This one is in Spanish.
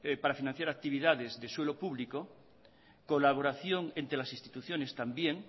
para financiar actividades de suelo público colaboración entre las instituciones también